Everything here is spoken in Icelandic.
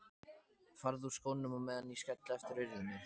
Farðu úr skónum á meðan ég skelli aftur hurðinni.